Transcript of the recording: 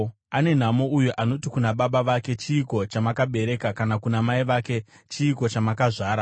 Ane nhamo uyo anoti kuna baba vake, ‘Chiiko chamakabereka?’ kana kuna mai vake, ‘Chiiko chamakazvara?’